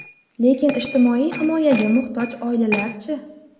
Lekin ijtimoiy himoyaga muhtoj oilalar-chi?